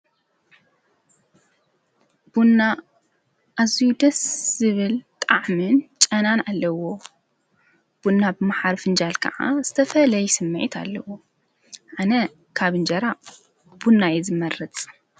ቡና ኣዙይደስ ስብል ጣዕምን ጨናን ኣለዎ ቡና ብመሓርፍእንጃል ከዓ ዝተፈ ለይ ስማይት ኣለዎ ኣነ ካብ እንጀራ ቡናየ ዝመረፅ።